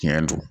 Tiɲɛ don